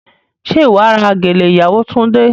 Ṣé wà á ra gèlè ìyàwó Túndé?